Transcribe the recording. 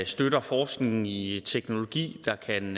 støtter forskningen i i teknologi der kan